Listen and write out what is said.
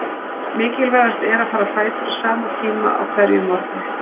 Mikilvægast er að fara á fætur á sama tíma á hverjum morgni.